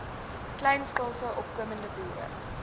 kleinskaalse opkomende boere